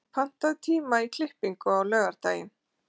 Begga, pantaðu tíma í klippingu á laugardaginn.